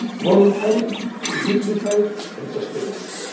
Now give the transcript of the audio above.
must be voluntary, dignified and sustainable.